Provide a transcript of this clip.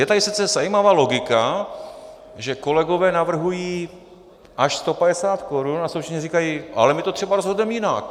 Je tady sice zajímavá logika, že kolegové navrhují až 150 korun a současně říkají: ale my to třeba rozhodneme jinak.